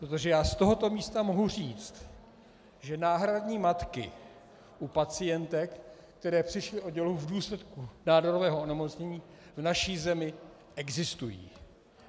Protože já z tohoto místa mohu říct, že náhradní matky u pacientek, které přišly o dělohu v důsledku nádorového onemocnění, v naší zemi existují.